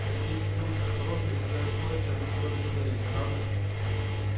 надеюсь ты будешь осторожен и сделаешь то о чем мы с тобой договорились правда